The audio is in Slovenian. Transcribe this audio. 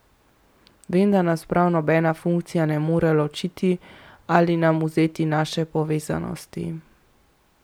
Vem, da nas prav nobena funkcija ne more ločiti ali nam vzeti naše povezanosti ...